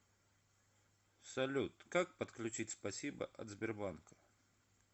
салют как подключить спасибо от сбербанка